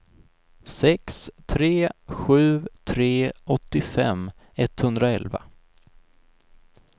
sex tre sju tre åttiofem etthundraelva